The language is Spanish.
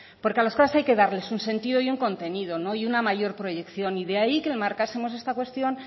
porque a las cosas hay que darles un sentido y un contenido y una mayor proyección de ahí que marcásemos esta cuestión